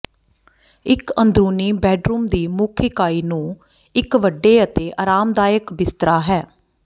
ਇੱਕ ਅੰਦਰੂਨੀ ਬੈੱਡਰੂਮ ਦੀ ਮੁੱਖ ਇਕਾਈ ਨੂੰ ਇੱਕ ਵੱਡੇ ਅਤੇ ਆਰਾਮਦਾਇਕ ਬਿਸਤਰਾ ਹੈ